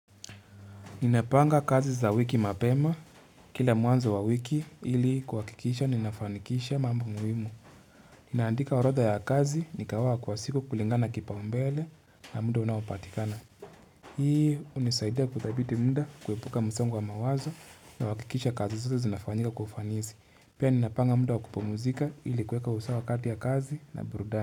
Ninapanga kazi za wiki mapema, kila mwanzo wa wiki ili kuwakikisha ninafanikisha mambo mwimu. Ninaandika orodha ya kazi nikaoa kwa siku kulingana kipao mbele na muda unaopatikana. Hii unizaidia kudhabiti muda kuwepuka msongo wa mawazo na wakikisha kazi zoto zinafanyika kufanizi. Pia ninapanga muda wa kupomuzika ili kuweka usawa kati ya kazi na burudani.